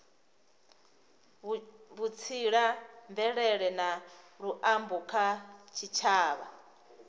vhutsila mvelele na luambo kha tshitshavha